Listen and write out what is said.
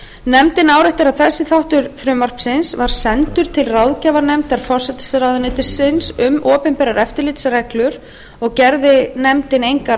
nefndin áréttar að þessi þáttur frumvarpsins var sendur til ráðgjafarnefndar forsætisráðuneytis um opinberar eftirlitsreglur og gerði nefndin engar